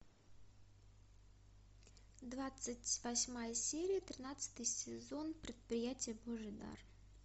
двадцать восьмая серия тринадцатый сезон предприятие божий дар